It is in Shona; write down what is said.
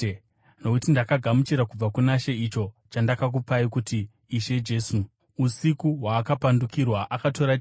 Nokuti ndakagamuchira kubva kuna She icho chandakakupai kuti Ishe Jesu, usiku hwaakapandukirwa, akatora chingwa,